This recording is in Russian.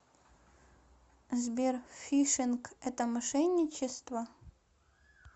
сбер фишинг это мошенничество